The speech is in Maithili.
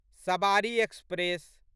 सबारी एक्सप्रेस